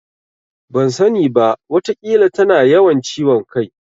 Ban sani ba. Wataƙila tana yawan ciwon kai.